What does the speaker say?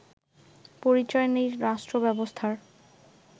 পরিচয় নেই রাষ্ট্রব্যবস্থার